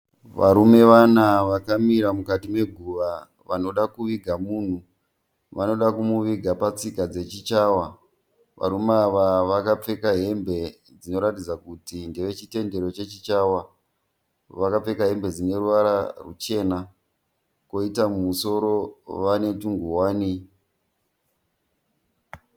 Varume vana vakamira mukati meguva vanoda kuviga munhu. Vanoda kumuviga patsika dzechiChawa. Varume ava vakapfeka hembe dzinoratidza kuti ndeve chitendero chechiChawa. Vakapfeka hembe dzine ruvara ruchena kwoita mumusoro vane twunguwani.